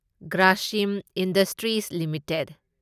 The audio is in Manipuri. Grasim industries limited